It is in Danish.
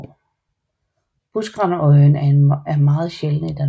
Buskrandøjen er meget sjælden i Danmark